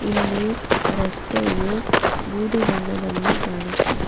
ಇಲ್ಲಿ ರಸ್ತೆಯು ಬೂದು ಬಣ್ಣದಲ್ಲಿ ಕಾಣುತ್ತಿದೆ.